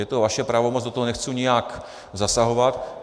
Je to vaše pravomoc, do toho nechci nijak zasahovat.